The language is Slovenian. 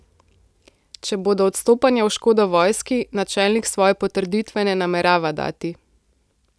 Če bodo odstopanja v škodo vojski, načelnik svoje potrditve ne namerava dati.